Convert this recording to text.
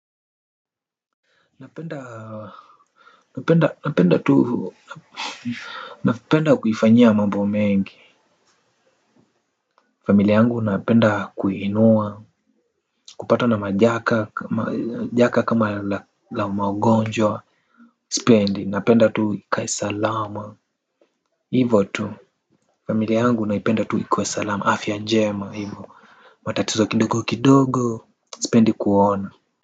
Napenda tu mapenda kuifanyia mambo mengi. Familia yangu napenda kuinua kupata na majaka kama la maugonjwa. Sipendi napenda tu ikae salama hivo tu familia yangu naipenda tu ikue salama afya njema matatizo kidogo sipendi kuona.